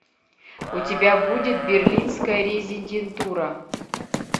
у тебя будет берлинская резидентура